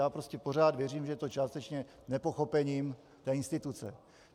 Já prostě pořád věřím, že je to částečně nepochopením té instituce.